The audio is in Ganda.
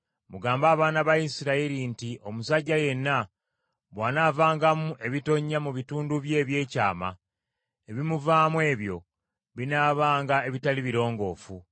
“Mugambe abaana ba Isirayiri nti omusajja yenna bw’anaavangamu ebitonnya mu bitundu bye ebyekyama, ebimuvaamu ebyo binaabanga ebitali birongoofu.